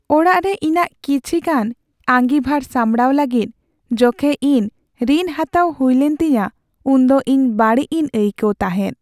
ᱚᱲᱟᱜ ᱨᱮ ᱤᱧᱟᱹᱜ ᱠᱤᱪᱷᱤᱜᱟᱱ ᱟᱸᱜᱤᱵᱷᱟᱨ ᱥᱟᱢᱲᱟᱣ ᱞᱟᱹᱜᱤᱫ ᱡᱚᱠᱷᱮᱡ ᱤᱧ ᱨᱤᱱ ᱦᱟᱛᱟᱣ ᱦᱩᱭᱞᱮᱱ ᱛᱤᱧᱟᱹ ᱩᱱ ᱫᱚ ᱤᱧ ᱵᱟᱹᱲᱤᱡ ᱤᱧ ᱟᱹᱭᱠᱟᱹᱣ ᱛᱟᱦᱮᱫ ᱾